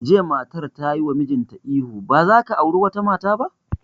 Jiya matar tayi wa mijinta ihu 'Ba za ka auri wata mata ba'!